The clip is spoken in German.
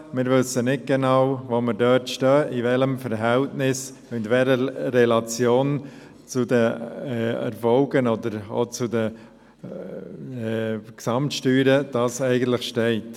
Wir wissen nicht genau, wo wir dort stehen, in welchem Verhältnis, in welcher Relation zu den Erfolgen oder auch zu den Gesamtsteuern das eigentlich steht.